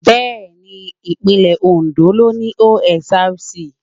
Bẹ́ẹ̀ni Ìpínlẹ̀ Oǹdó ló ni OSRC.